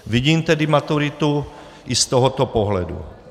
Vidím tedy maturitu i z tohoto pohledu.